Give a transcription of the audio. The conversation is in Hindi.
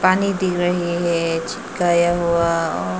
पानी दिख रहे हैं चिपकाया हुआ और--